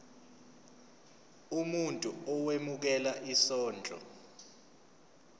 umuntu owemukela isondlo